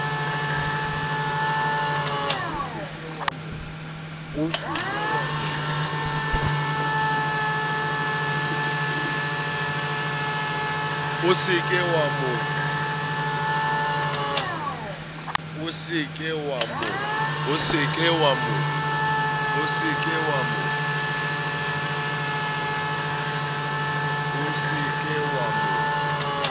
o se ke wa mo